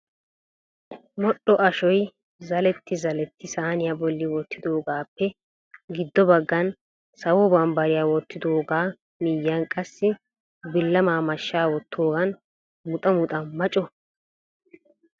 modhdho ashoy zaletti zaletti saaniyaa bolli wottidoogappe giddo baggan sawo bambbariya wottidooga miyyiyan qassi bilama mashshaa wottoogan muxxa muxxa ma co!